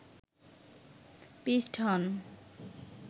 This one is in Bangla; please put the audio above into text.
পিষ্ট হন